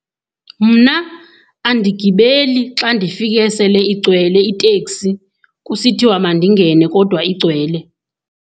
Mna andigibeli xa ndifike sele igcwele iteksi kusithiwa mandingene kodwa igcwele.